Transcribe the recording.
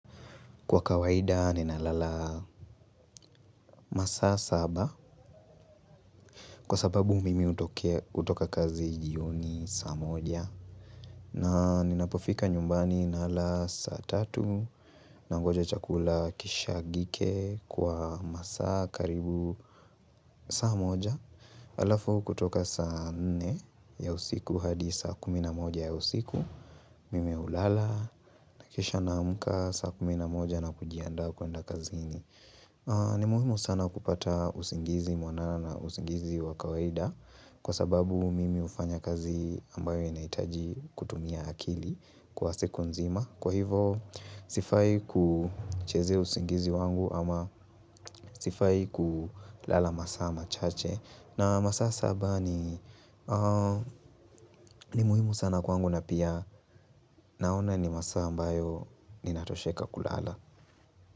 Kwa kawaida ninalala masaa saba. Kwa sababu mimi hutokea hutoka kazi jioni saa moja na ninapofika nyumbani nala saa tatu nangoja chakula kishagike kwa masaa karibu saa moja halafu kutoka saa nne ya usiku hadi saa kumi na moja ya usiku Mimi hulala na kisha naamka saa kumi na moja na kujiandaa kuenda kazini ni muhimu sana kupata usingizi mwanana na usingizi wa kawaida kwa sababu mimi hufanya kazi ambayo inahitaji kutumia akili kwa siku nzima. Kwa hivo sifai kuchezea usingizi wangu ama sifai kulala masaa machache. Na masaa saba ni ni muhimu sana kwangu na pia naona ni masaa ambayo ninatosheka kulala.